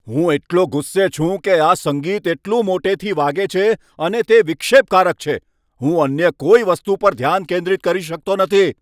હું એટલો ગુસ્સે છું કે આ સંગીત એટલું મોટેથી વાગે છે અને તે વિક્ષેપકારક છે. હું અન્ય કોઈ વસ્તુ પર ધ્યાન કેન્દ્રિત કરી શકતો નથી.